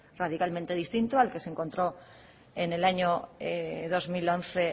radicalmente distinto al que se encontró en el año dos mil once